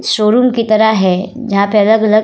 showroom की तरह है जहाँ पे अलग-अलग --